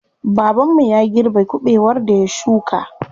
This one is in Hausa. Baban mu ya girbe kuɓewar da ya shuka.